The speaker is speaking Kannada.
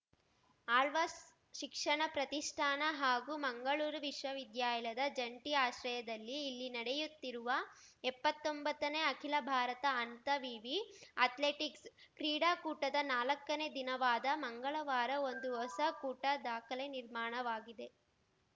ಆಳ್ವಾಸ್‌ ಶಿಕ್ಷಣ ಪ್ರತಿಷ್ಠಾನ ಹಾಗೂ ಮಂಗಳೂರು ವಿಶ್ವವಿದ್ಯಾಲದ ಜಂಟಿ ಆಶ್ರಯದಲ್ಲಿ ಇಲ್ಲಿ ನಡೆಯುತ್ತಿರುವ ಎಪ್ಪತ್ತೊಂಬತ್ತನೇ ಅಖಿಲ ಭಾರತ ಅಂತ ವಿವಿ ಅಥ್ಲೆಟಿಕ್ಸ್‌ ಕ್ರೀಡಾಕೂಟದ ನಾಲಕ್ಕನೇ ದಿನವಾದ ಮಂಗಳವಾರ ಒಂದು ಹೊಸ ಕೂಟ ದಾಖಲೆ ನಿರ್ಮಾಣವಾಗಿದೆ